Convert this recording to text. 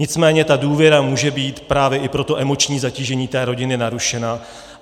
Nicméně ta důvěra může být právě i pro to emoční zatížení té rodiny narušena.